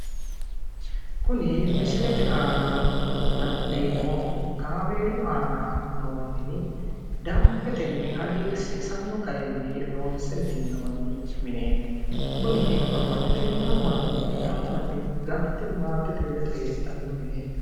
Kuni misilete aana la'neemohu kaameelu aana noo mini danbetenni hagirsiisanno garinni loonse minnonni mineeti kuni babbaxxitino mannooti ganba yite galte maatete ledo heedhanno mineeti